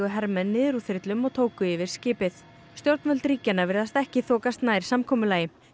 hermenn niður úr þyrlum og tóku yfir skipið stjórnvöld ríkjanna virðast ekki þokast nær samkomulagi